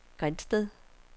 Grindsted